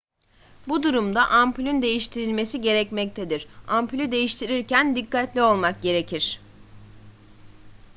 bu durumda ampulün değiştirilmesi gerekmektedir ampulü değiştirirken dikkatli olmak gerekir